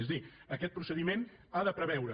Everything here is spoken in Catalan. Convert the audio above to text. és a dir aquest procediment ha de preveure